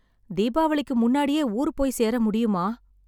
தீபாவளிக்கு முன்னாடியே ஊர் போய் சேர முடியுமா?